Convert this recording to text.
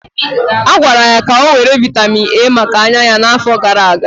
A gwara ya ka ọ were vitamin A maka anya ya n'afọ gara aga.